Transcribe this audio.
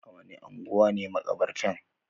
A wani anguwa ne makabartan?